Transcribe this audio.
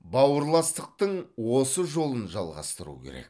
бауырластықтың осы жолын жалғастыру керек